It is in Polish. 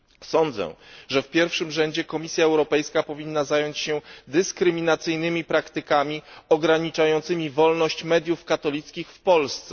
Sądzę, że w pierwszym rzędzie Komisja Europejska powinna zająć się dyskryminacyjnymi praktykami ograniczającymi wolność mediów katolickich w Polsce.